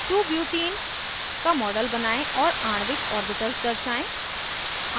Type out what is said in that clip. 2butene का model बनायें और आणविक ऑर्बिटल्स दर्शाएं